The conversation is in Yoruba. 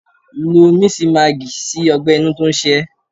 Lo misimagi sí ọgbẹ-inú tó ń ṣe ó.